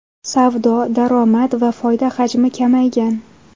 Savdo, daromad va foyda hajmi kamaygan.